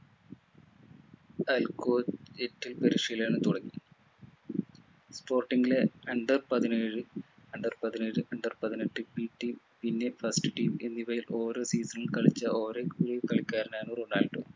പരിശീലനം തുടങ്ങി sporting ലെ under പതിനേഴ് under പതിനേഴ് under പതിനെട്ട് pt പിന്നെ first team എന്നിവയിൽ ഓരോ season ൽ കളിച്ച കളിക്കാരനാണ് റൊണാൾഡോ